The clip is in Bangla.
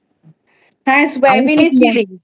হ্যাঁ সয়াবিনে Chilli